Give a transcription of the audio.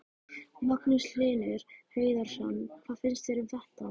Magnús Hlynur Hreiðarsson: Hvað finnst þér um þetta?